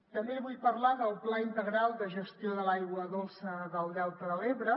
també li vull parlar del pla integral de gestió de l’aigua dolça del delta de l’ebre